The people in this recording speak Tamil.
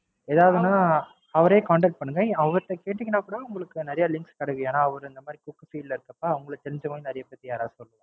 அவர Contact பண்ணுங்க. அவர்ட்ட கேட்டீங்கனா கூடஉங்களுக்கு நிறைய Links கிடைக்கும். ஏனாஅவர் இந்த மாறி cook Field ல இருக்கிறதல அவங்களுக்கு தெரிஞ்சவங்க நிறைய பேர் யாராவது இருப்பாங்க.